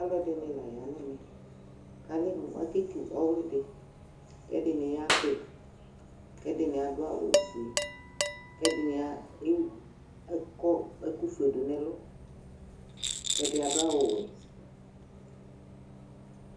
Alu ɛɖi ŋi la ƴa ŋɛƒɛ, ƙɔle mɔƙétʊ ɔwli ɖi Ƙɛɖɩ ŋɩ ƴaɖi ƙɛɖɩ ŋl aɖʊ awu ƒoé ƙɛɖɩ ŋi aƙɔ ɛƙʊ ƒoé ɖʊ ŋɛ lʊ ƙɛɖi aɖu awu wɔɛ